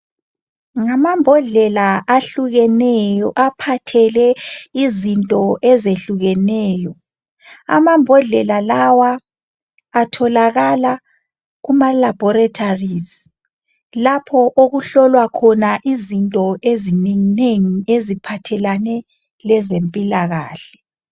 Ngamambhodlela ahlukeneyo aphathele izinto izinto ezehlukeneyo. Amambhodlela lawa atholakala kuma laboratories lapho okuhlolwa khona izinto ezinenginengi eziphathelane lezempilakahle .